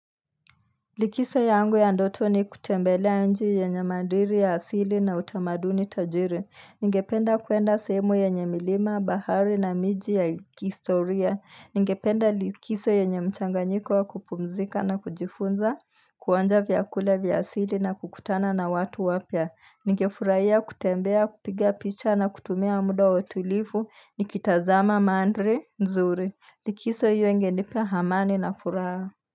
Likiso yangu ya ndotu ni kutembelea nchi yenye madiri ya asili na utamaduni tajiri. Ningependa kuenda sehemu yenye milima, bahari na miji ya kistoria. Ningependa likiso yenye mchanganyiko wa kupumzika na kujifunza, kuonja vyakule vya asili na kukutana na watu wapya. Ningefurahia kutembea, kupiga picha na kutumia muda watulifu, nikitazama mandri, nzuri. Likiso hio ingeleta hamani na furaha.